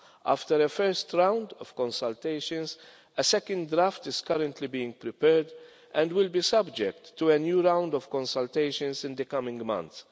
After a first round of consultations, a second draft is currently being prepared and will be subject to a new round of consultations in the coming months.